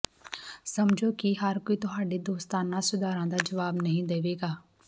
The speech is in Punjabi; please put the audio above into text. ਸਮਝੋ ਕਿ ਹਰ ਕੋਈ ਤੁਹਾਡੇ ਦੋਸਤਾਨਾ ਸੁਧਾਰਾਂ ਦਾ ਜਵਾਬ ਨਹੀਂ ਦੇਵੇਗਾ